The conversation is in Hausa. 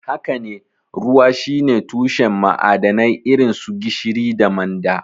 Haka ne, ruwa shine tushen ma'adanai irin su gishiri da manda.